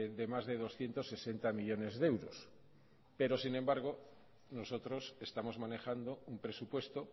de más de doscientos sesenta millónes de euros sin embargo nosotros estamos manejando un presupuesto